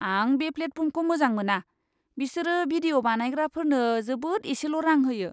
आं बे प्लेटफर्मखौ मोजां मोना। बिसोरो भिडिअ' बानायग्राफोरनो जोबोद एसेल' रां होयो।